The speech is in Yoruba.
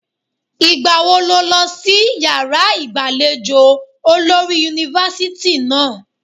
Ìgbà wo ló lọ sí yàrá ìgbàlejò olórí yunifásítì náà?